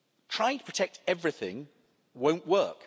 Trying to protect everything won't work.